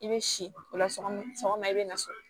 I bɛ si o la sɔgɔma i bɛ na so